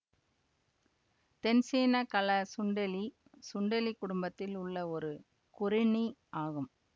தென்சீன கள சுண்டெலி சுண்டெலி குடும்பத்தில் உள்ள ஒரு கொறிணி ஆகும்